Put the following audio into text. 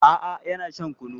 A'a yana shan kulun.